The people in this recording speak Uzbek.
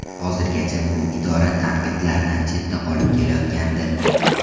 Hozirgacha bu idora tanqidlardan chetda qolib kelayotgandi.